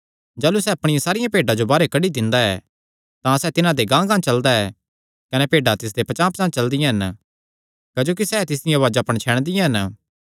जाह़लू सैह़ अपणियां सारियां भेड्डां जो बाहरेयो कड्डी दिंदा ऐ तां सैह़ तिन्हां दे गांहगांह चलदा ऐ कने भेड्डां तिसदे पचांह़पचांह़ चलदियां हन क्जोकि सैह़ तिसदिया उआज़ा पणछैणदियां हन